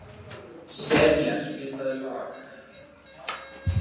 Senía, spilaðu lag.